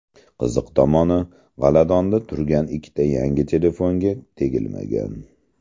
Qiziq tomoni, g‘aladonda turgan ikkita yangi telefonga tegilmagan.